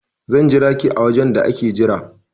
I will wait for you in the waiting area